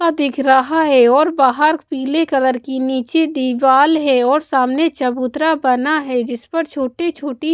दिख रहा है और बाहर पीले कलर की नीचे दीवाल है और सामने चबूतरा बना है जिस पर छोटी-छोटी--